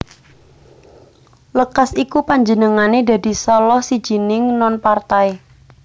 Lekas iku panjenengané dadi salah sijining non partai